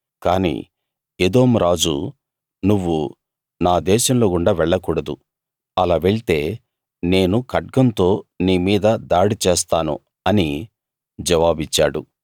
కాని ఎదోము రాజు నువ్వు నా దేశంలోగుండా వెళ్లకూడదు అలా వెళ్తే నేను ఖడ్గంతో నీ మీద దాడి చేస్తాను అని జవాబిచ్చాడు